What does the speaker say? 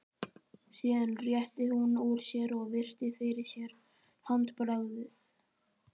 Síðan rétti hún úr sér og virti fyrir sér handbragðið.